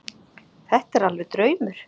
Þetta er alveg draumur.